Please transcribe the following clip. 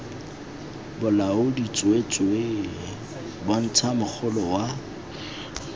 bolaodi tsweetswee bontsha mogolo wa